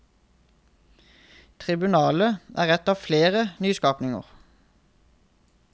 Tribunalet er et av flere nyskapninger.